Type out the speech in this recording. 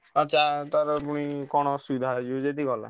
ପୁଣି କଣ ଅସୁବିଧା ହେଇଯିବ ପୁଣି ଗଲା।